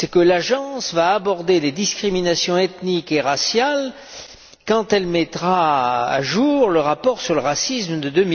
l'Agence abordera les discriminations ethniques et raciales quand elle mettra à jour le rapport sur le racisme de